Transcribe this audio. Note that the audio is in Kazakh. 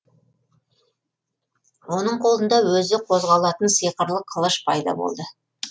оның қолында өзі қозғалатын сиқырлы қылыш пайда болды